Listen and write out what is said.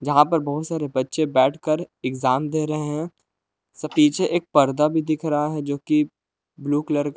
यहां पर बहुत सारे बच्चे बैठकर एग्जाम दे रहे हैं सो पीछे एक पर्दा भी दिख रहा है जो कि ब्लू कलर का--